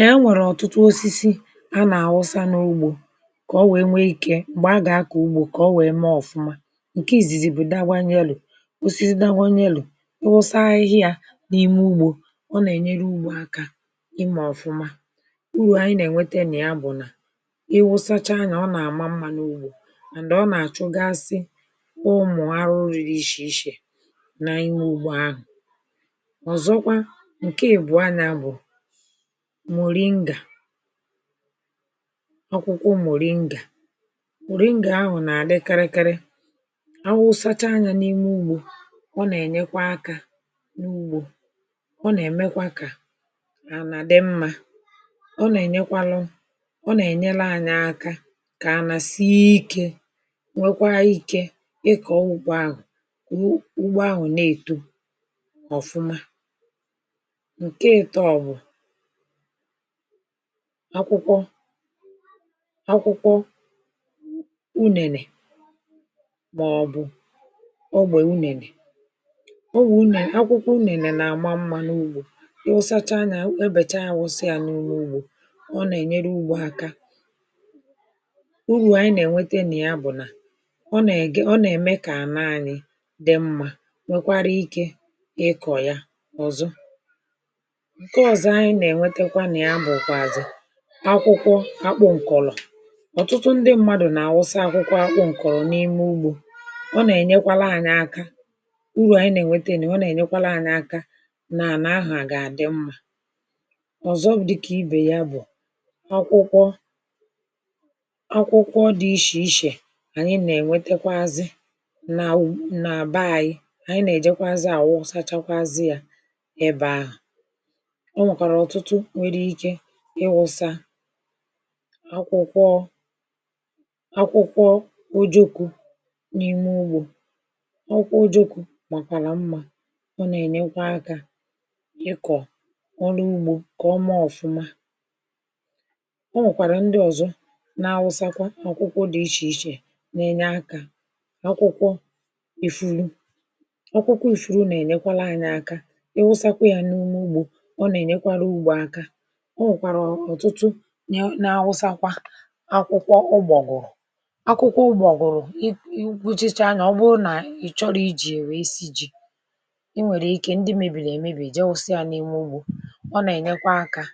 nà ya nwèrè ọ̀tụtụ osisi anà-àwụsa n’ugbȯ um kà ọ wèe nwee ikė m̀gbè a gà-akọ̀ ugbȯ kà ọ wèe mee ọ̀fụma um ǹke ìzìzì bụ̀ daghwanye elu̇ osisi daghwanye elu̇ ịwụsa ahịhịa n’ime ugbȯ um ọ nà-ènyere ugbȯ akȧ ịmȧ ọ̀fụma urù ànyị nà-ènwete nị̀ ya um bụ̀ nà iwụsacha anyȧ ọ nà-àma mmȧ n’ugbȯ um màndị̀ ọ nà-àchụ gasị ụmụ̀ arụ riri ịshì ịshè n’ime ugbȯ ahụ̀ um ọ̀zọkwa ǹke àbụrụ anya bụ̀ akwụkwọ muri ngà muri ngà ahụ̀ nà-àdị karịkari awụsacha anyȧ n’ime ụgbọ̇ um ọ nà-ènyekwa akȧ n’ugbȯ ọ nà-èmekwa kà nà-àdị mmȧ um ọ nà-ènyekwalu ọ nà-ènyere anyị aka kà anà sie ikė um nwekwa ikė ịkọ̀ ọwụkwọ ahụ̀ ugbo ahụ̀ na-èto ọ̀fụma um akwụkwọ akwụkwọ unènè maọ̀bụ̀ ogbè unènè um o nwè unènè akwụkwọ unènè na-àma mmȧ n’ugbȯ um ịwụsacha nya ebècha awụsị à n’ụlọ̀ ugbȯ um ọ nà-ènyere ugbȯ aka urù ànyi nà-ènwete n’ya um bụ̀ nà ọ nà-ème kà ànaani dị̇ mmȧ nwekwara ikė ịkọ̀ ya um ọ̀zọ akwụkwọ akpọ ǹkọ̀lọ̀ ọ̀tụtụ ndị mmadụ̀ nà-àwụsa akwụkwọ akpọ ǹkọ̀rọ̀ n’ime ugbȯ um ọ nà-ènyekwala ànyị aka urù ànyị nà-ènweta ènù um ọ nà-ènyekwala ànyị aka nà-àna ahụ̀ à gà-àdị mmȧ um ọ̀zọ bụ̀ dịkà ibè ya bụ̀ akwụkwọ akwụkwọ dị̇ ishè ishè um ànyị nà-ènwetekwazị nà àyị ànyị nà-èjekwazi àwọ sachakwazị à um ebe ahụ̀ akwụkwọ akwụkwọ ojokwu̇ n’ime ugbȯ ọkwụkwọ ojokwu̇ màkwàla mmȧ um ọ nà-ènyekwa akȧ ịkọ̀ ọrụ ugbȯ kà o maa ọ̀fụma um ọ nwèkwàrà ndị ọ̀zọ na-awụsakwa ọ̀kwụkwọ dị̇ ichè ichè na-enye akȧ akwụkwọ ìfuru um ọkwụkwọ ìfuru nà-ènyekwala anyị̇ aka iwu̇sȧkwȧ yà n’ime ugbȯ um ọ nà-ènyekwara ugbȯ aka akwụkwọ ụgbọ̀gwụ̀rụ̀ um akwụkwọ ụgbọ̀gwụ̀rụ̀ i i krushicha anya um ọ bụrụ nà ị chọrọ i ji̇ ère esi ji̇ i nwèrè ike um ndị mèbìrì èmebìe jẹwusịa n’ime ugbȯ um ọ nà-ènyekwa akȧ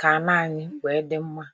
kà a na-anyị wèe dị mma